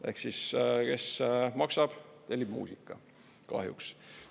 Ehk siis kes maksab, tellib muusika kahjuks.